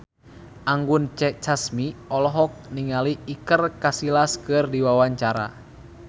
Anggun C. Sasmi olohok ningali Iker Casillas keur diwawancara